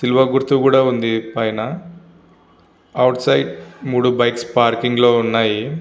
తిల్వ గుర్తు కూడా ఉంది పైన. అవుట్ సైడ్ మూడు బైక్స్ పార్కింగ్ లో ఉన్నాయి.